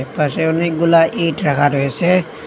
এপাশে অনেকগুলা ইট রাখা রয়েসে।